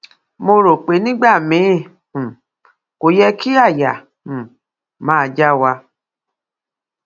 mo rò pé nígbà miín um kò yẹ kí àyà um máa já wa